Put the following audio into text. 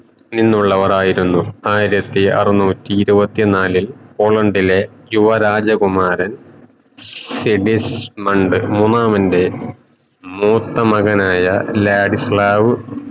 നിന്നുള്ളവരായിരുന്നു ആയിരത്തി അറന്നൂറ്റി ഇരുവതി നാലിൽ പോളണ്ടിലെ യുവരാജകുമാരൻ സിഗിസ്‌മണ്ട് മൂന്നാമൻറെ മൂത്തമകന് ആയ ലാരിസ് ക്ലാവ് എന്നിവരായിരുന്നു